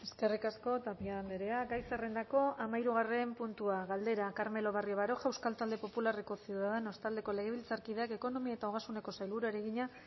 eskerrik asko tapia andrea gai zerrendako hamairu puntua galdera carmelo barrio baroja euskal talde popularreko ciudadanos taldeko legebiltzarkideak ekonomia ogasun eta sailburuari egina